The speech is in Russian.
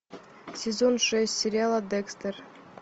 сезон шесть сериала декстер